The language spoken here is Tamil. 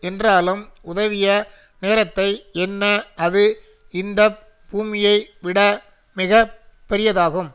என்றாலும் உதவிய நேரத்தை எண்ண அது இந்த பூமியை விட மிக பெரியதாகும்